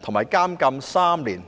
及監禁3年。